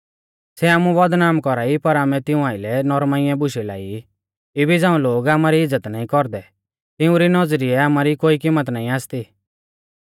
सै आमु बदनाम कौरा ई पर आमै तिऊं आइलै नौरमाइऐ बुशै लाई ई इबी झ़ाऊं लोग आमारी इज़्ज़त नाईं कौरदै तिउंरी नौज़रिऐ आमारी कोई किम्मत नाईं आसती